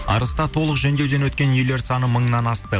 арыста толық жөндеуден өткен үйлер саны мыңнан асты